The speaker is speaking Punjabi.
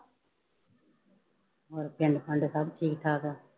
ਹੋਰ ਪਿੰਡ ਪੰਡ ਸਭ ਠੀਕ ਠਾਕ ਆ।